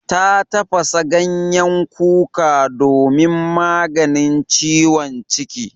Ta tafasa ganyen kuka domin maganin ciwon ciki.